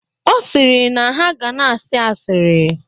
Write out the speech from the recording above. Ọ sịrị na ha ga na-asị asịrị.